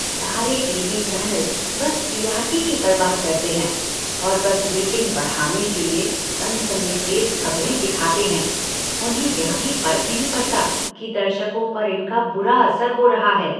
सारे TV channel बस TRP की परवाह करते हैं और बस रेटिंग बढ़ाने के लिए सनसनीखेज़ खबरें दिखाते हैं, उन्हें यह भी फर्क नहीं पड़ता कि दर्शकों पर इनका बुरा असर हो रहा है।